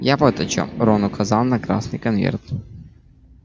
я вот о чём рон указал на красный конверт